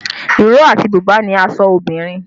Ìró àti bùbá ni aṣọ obìnrin